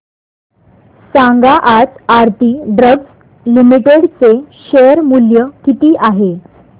सांगा आज Aarti drugs limited चे शेअर मूल्य किती आहे